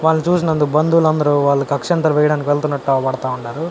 వాళ్ళని చూసినందుకు బంధువులందరూ వాళ్ళకి అక్షింతలు వేయడానికి వెళ్తున్నట్టు కనబడతా ఉన్నరు.